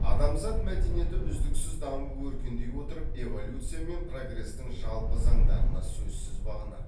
адамзат мәдениеті үздіксіз дамып өркендей отырып эволюция мен прогрестің жалпы заңдарына сөзсіз бағынады